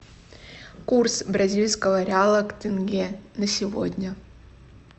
курс бразильского реала к тенге на сегодня